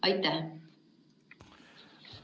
Aitäh!